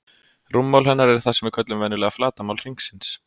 Rúmmál hennar er það sem við köllum venjulega flatarmál hringsins.